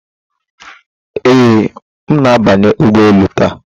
Ee, m na-abanye ụgbọ elu taa.